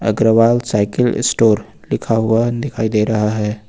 Agarwal cycle store लिखा हुआ दिखाई दे रहा है।